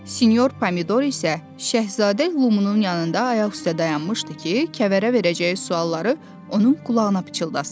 Sinor Pomidor isə Şəhzadə Lumunun yanında ayaq üstə dayanmışdı ki, Kəvərə verəcəyi sualları onun qulağına pıçıldasın.